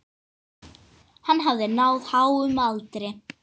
Hann hafði náð háum aldri.